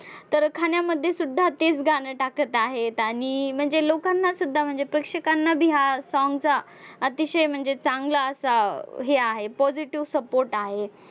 तर खाण्यामध्ये सुद्धा तेच गाणं टाकत आहेत आणि म्हणजे लोकांना सुद्धा म्हणजे प्रेक्षकांना बी हा song चा अतिशय म्हणजे चांगला असा हे आहे positive support आहे.